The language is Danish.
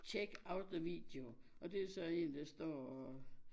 Check out the video og det er så en står og